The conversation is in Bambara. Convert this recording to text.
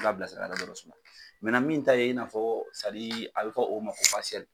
a bila sira suma min ta ye i n'a fɔ a bɛ fɔ o ma ko